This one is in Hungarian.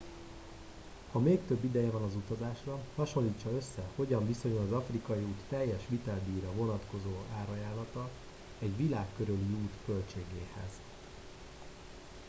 ha még több ideje van az utazásra hasonlítsa össze hogyan viszonyul az afrikai út teljes viteldíjra vonatkozó árajánlata egy világ körüli út költségéhez